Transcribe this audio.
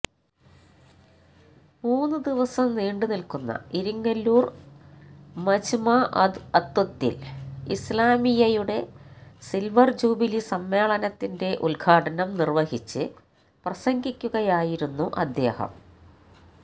മൂന്ന് ദിവസം നീണ്ട് നില്ക്കുന്ന ഇരിങ്ങല്ലൂര് മജ്മഅ് ദഅ്വത്തില് ഇസ്ലാമിയ്യയുടെ സില്വര് ജൂബിലി സമ്മേളനത്തിന്റെ ഉദ്ഘാടനം നിര്വഹിച്ച് പ്രസംഗിക്കുകയായിരുന്നു അദ്ദേഹം